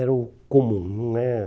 Era o comum né.